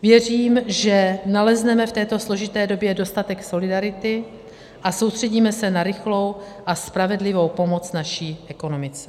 Věřím, že nalezneme v této složité době dostatek solidarity a soustředíme se na rychlou a spravedlivou pomoc naší ekonomice.